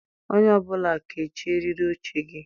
Onye ọ bụla kechie eriri oche gị!